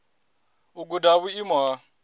u guda ha vhuimo ha